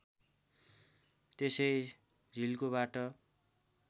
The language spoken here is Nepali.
त्यसै झिल्कोबाट